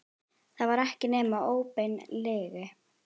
Það var ekki nema óbein lygi.